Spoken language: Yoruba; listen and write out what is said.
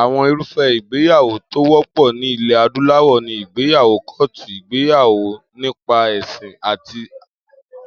Àwo̩n irúfé̩ ìgbéyàwó̩ tó wó̩pò̩ ní ilè̩ adúláwò̩ ni ìgbéyàwó kó̩ò̩tù, ìgbéyàwó nípa è̩sìn àti